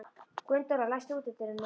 Gunndóra, læstu útidyrunum.